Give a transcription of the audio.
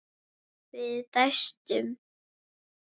Við dæstum.